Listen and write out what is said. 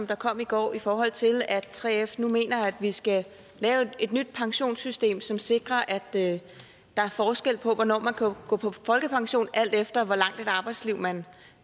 der kom i går i forhold til at 3f nu mener at vi skal lave et nyt pensionssystem som sikrer at der er forskel på hvornår man kan gå på folkepension alt efter hvor langt et arbejdsliv man